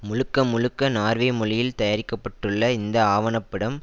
முழுக்க முழுக்க நார்வே மொழியில் தயாரிக்க பட்டுள்ள இந்த ஆவண படம்